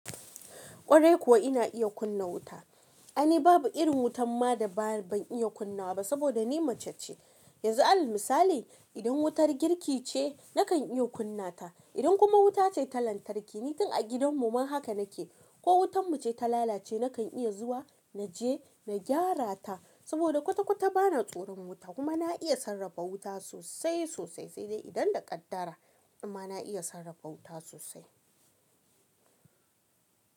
Kwarai kuwa ina iya kunna wuta, aini babu irin wutan ma da ba ban iya kunna ba saboda ni mace ce, yanzu al'amisa idan wutar girki ce nakan iya kunna ta, idan kuma wuta ce ta lantarki, ni tun a gidan mu ma haka nake, ko wutan mu ce ta lalace nakan iya zuwa naje na gyara ta saboda kwata kwata bana tsoron wuta kuma na iya sarrafa wuta sosai sosai sai dai idan da kaddara amma na iya sarrafa wuta sosai.